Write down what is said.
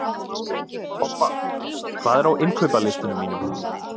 Obba, hvað er á innkaupalistanum mínum?